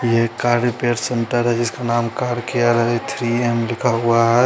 ये car repair centre जिसका नाम कार केयर है थ्री एम लिखा हुआ है।